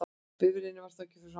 Bifreiðin var þá fyrir framan hann